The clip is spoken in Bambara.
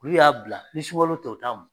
K'u y'a bila, ni sukalo tɛ u t'a mun.